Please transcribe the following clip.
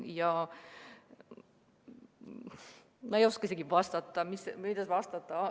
Ja ma ei oskagi muud vastata – mida sa ikka vastad.